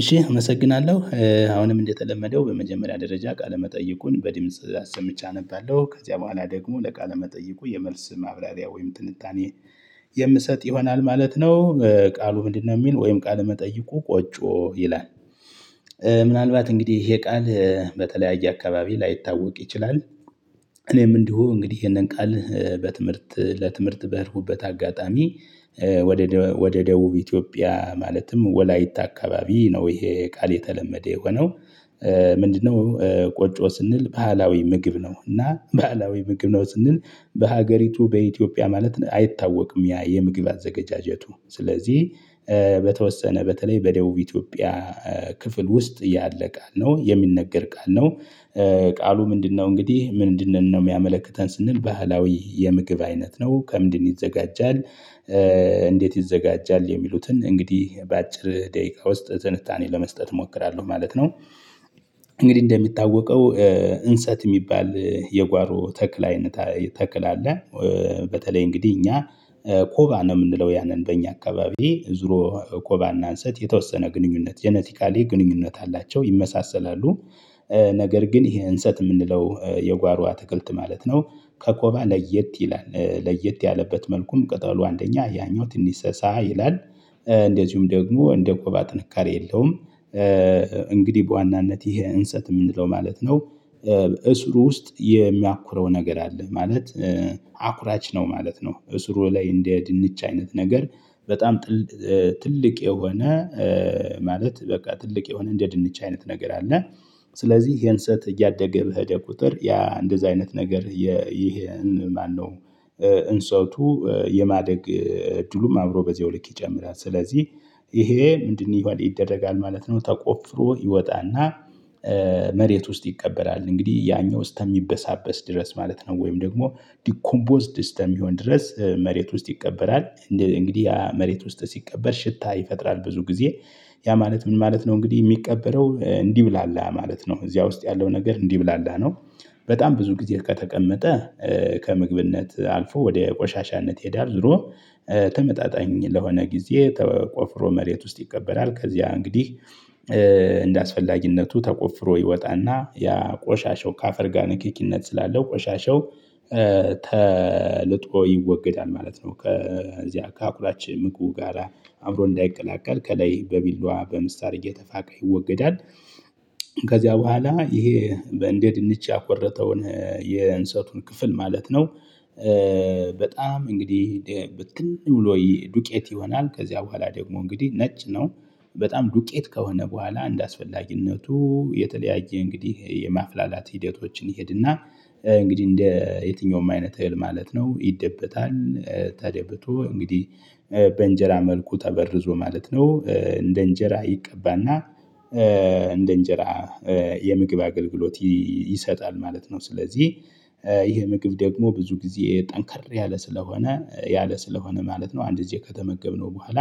እሺ አመሰግናለሁ አሁንም እንደተለመደው በመጀመሪያ ደረጃ ቃለ መጠይቁን በድምጽ አሰምቼ አነባለሁ ከዚያ በኋላ ደግሞ ለቃለ መጠይቁ የመልስ ማብራሪያ ወይም ጥንታኔ የምሰጥ ይሆናል ማለት ነው። ቃሉ ምንድነው የሚል ወይም ቃል መጠይቆ ቆጮ ይላል። ምናልባት እንግዲህ ይሄ ቃል በተለያየ አካባቢ ላይታወቅ ይችላል። እኔም እንዲሁ እንግዲህ ይሄንን ቃል በትምህርት ለትምህርት በሄድኩበት አጋጣሚ። ወደ ወደ ደቡብ ኢትዮጵያ ማለትም ወላይታ አካባቢ ነው ይሄ ቃል የተለመደ የሆነው። ምንድነው? ቆጮ ስንል ባህላዊ ምግብ ነው እና ባህላዊ ምግብ ነው ስንል በሀገሪቱ በኢትዮጵያ ማለት አይታወቅም ያ የምግብ አዘጋጀቱ ስለዚህ በተወሰነ በተለይ በደቡብ ኢትዮጵያ ክፍል ውስጥ ያለ ቃል ነው የሚነገር ቃል ነው። ቃሉ ምንድነው? እንግዲህ ምንድንነው የሚያመለክተን ስንል ባህላዊ የምግብ አይነት ነው ከምንድነው ይዘጋጃል? እንዴት ይዘጋጃል? የሚሉትን እንግዲህ በአጭር ደቂቃ ውስጥ ትንታኔ ለመስጠት እሞክራለሁ ማለት ነው። እንግዲህ እንደሚታወቀው እንሰት የሚባል የጓሮ ተክል አይነት ተክል አለ። በተለይ እንግዲህ እኛ ኮባ ነው የምንለው ያንን በእኛ አካባቢ ዙሮ ኮባና እንሰጥ የተወሰነ ግንኙነት ጄኔቲካሊ ግንኙነት አላቸው ይመሳሰላሉ። ነገር ግን ይሄ እንሰጥ የምንለው የጓሮዋ ትክልት ማለት ነው። ከኮባ ለየት ይላል ለየት ያለበት መልኩም ቅጠሉ አንደኛ ያኛው ትንሽ ሰሳ ይላል። እንደዚሁም ደግሞ እንደ ኮባ ጥንካሬ የለውም። እንግዲህ በዋናነት ይሄ እንሰጥ የምንለው ማለት ነው። እሱሩ ውስጥ የሚያኩረው ነገር አለ ማለት አኩራች ነው ማለት ነው። እሱሩ ላይ እንደ ድንች አይነት ነገር በጣም ትልቅ የሆነ ማለት በቃ ትልቅ የሆነ እንደ ድንች አይነት ነገር አለ። ስለዚህ ይሄን እንስት እያደገ ብሄደ ቁጥር ያ እንደዚህ አይነት ነገር ይሄን ማነው? እንሰጥቱ እድሉም አምሮ በዚህ ወልቅ ይጨምራል። ስለዚህ ይሄ ምንድነው ይሆን ይደረጋል ማለት ነው። ተቆፍሮ ይወጣና መሬት ውስጥ ይቀበላል እንግዲህ ያኛው ስተሚበሳበስ ድረስ ማለት ነው ወይም ደግሞ ዲኮምቦዝ ደስተም ቢሆን ድረስ መሬት ውስጥ ይቀበራል። እንግዲህ መሬት ውስጥ ሲቀበር ሽታ ይፈጥራል ብዙ ጊዜ። ያ ማለት ምን ማለት ነው? እንግዲህ የሚቀበለው እንዲህ ብላላ ማለት ነው እዚያ ውስጥ ያለው ነገር እንዲህ ብላላ ነው። በጣም ብዙ ጊዜ ከተቀመጠ ከምግብነት አልፎ ወደ ቆሻሻነት ይሄዳል ዝሮ። ተመጣጣኝ ለሆነ ጊዜ ተቆፍሮ መሬት ውስጥ ይቀበራል ከዚያ እንግዲህ። እንደአስፈላጊነቱ ተቆፍሮ ይወጣና ያ ቆሻሻው ከአፈር ጋር ንክኪነት ስላለው ቆሻሻው ተልጦ ይወገዳል ማለት ነው። ከዚያ ከአኩላች ምቁ ጋራ አእምሮ እንዳይቀላቀል ከላይ በቢልዷ በምሳር እየተፋቀ ይወገዳል። ከዚያ በኋላ ይሄ በእንደ ድንች ያቆረጠውን የእንስሳቱን ክፍል ማለት ነው። በጣም እንግዲህ ብትን ውሎ ዱቄት ይሆናል ከዚያ በኋላ ደግሞ እንግዲህ ነጭ ነው። በጣም ዱቄት ከሆነ በኋላ አንድ አስፈላጊነቱ የተለያየ እንግዲህ የማፍላላት ሂደቶችን ይሄድና እንግዲህ እንደ የትኛውም አይነት እህል ማለት ነው ይደበታል። ተደብቶ እንግዲህ በእንጀራ መልኩ ተበርዞ ማለት ነው። እንደ እንጀራ ይቀባና እንደ እንጀራ የምግብ አገልግሎት ይሰጣል ማለት ነው። ስለዚህ ይሄ ምግብ ደግሞ ብዙ ጊዜ ጠንከር ያለ ስለሆነ ያለ ስለሆነ ማለት ነው። አንድ ጊዜ ከተመገብነው በኋላ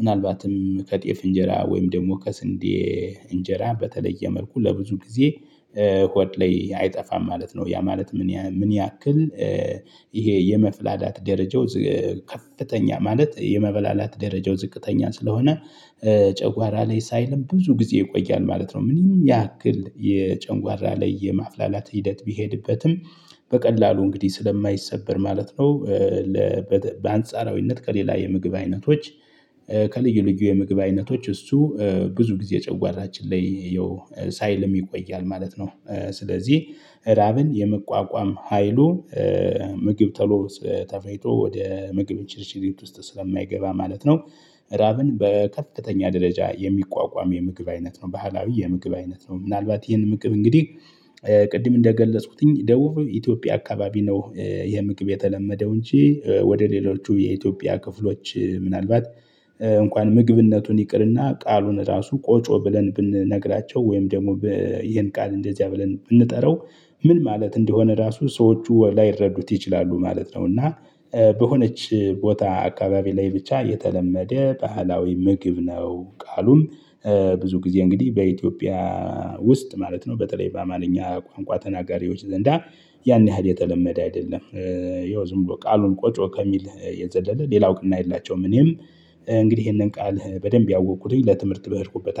ምናልባትም ከጤፍ እንጀራ ወይም ደግሞ ከስንዴ እንጀራ በተለየ መልኩ ለብዙ ጊዜ ሆድ ላይ አይጠፋም ማለት ነው። ያ ማለት ምን ምን ያክል? ይሄ የመፍላላት ደረጃው ከፍተኛ ማለት የመበላላት ደረጃው ዝቅተኛ ስለሆነ ጨንጓራ ላይ ሳይልም ብዙ ጊዜ ይቆያል ማለት ነው። ምንም ያክል የጨንጓራ ላይ የማፍላላት ሂደት ቢሄድበትም በቀላሉ እንግዲህ ስለማይሰበር ማለት ነው። በአንጻራዊነት ከሌላ የምግብ አይነቶች ከልዩ ልዩ የምግብ አይነቶች እሱ ብዙ ጊዜ ጨዋራችን ላይ ያው ሳይል የሚቆያል ማለት ነው። ስለዚህ ራብን የመቋቋም ሀይሉ ምግብ ተሎ ተፈኝቶ ወደ ምግብ እንሽርሽሪት ውስጥ ስለማይገባ ማለት ነው። ራብን በከፍተኛ ደረጃ የሚቋቋም የምግብ አይነት ነው ባህላዊ የምግብ አይነት ነው። ምናልባት ይህንን ምግብ እንግዲህ ቅድም እንደገለጽኩትኝ ደውፍ ኢትዮጵያ አካባቢ ነው ይሄ ምግብ የተለመደው እንጂ ወደ ሌሎቹ የኢትዮጵያ ክፍሎች ምናልባት እንኳን ምግብነቱን ይቅርና ቃሉን ራሱ ቆጮ ብለን ብንነግራቸው ወይም ደግሞ ይሄን ቃል እንደዚያ ብለን ብንጠራው ምን ማለት እንደሆነ ራሱ ሰዎቹ ላይረዱት ይችላሉ ማለት ነው። እና በሆነች ቦታ አካባቢ ላይ ብቻ የተለመደ ባህላዊ ምግብ ነው። ቃሉን ብዙ ጊዜ እንግዲህ በኢትዮጵያ ውስጥ ማለት ነው በተለይ በአማልኛ ቋንቋ ተናጋሪዎች ዘንዳ ያን ያህል የተለመደ አይደለም። ይኸው ዝም ብሎ ቃሉን ቆጮ ከሚል የዘለለ ሌላው ቅና የላቸውም። እኔም እንግዲህ ይሄንን ቃል በደንብ ያወቅኩትኝ ለትምህርት ብሄርኩበት